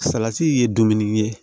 Salati ye dumuni ye